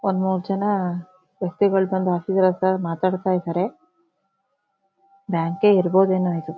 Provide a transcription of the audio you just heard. ಒಂದ ಮೂರ ಜನ ವ್ಯಕ್ತಿಗಳು ಬಂದು ಆಫೀಸರ್ ಹತ್ರ ಮಾತಾಡತಾ ಇದಾರೆ ಬ್ಯಾಂಕೆ ಇರಬಹುದೇನೋ ಇದು .